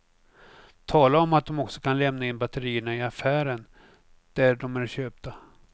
Tala om att de också kan lämna in batterierna i affären där de är köpta.